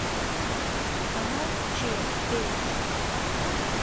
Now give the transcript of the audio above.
канал че перец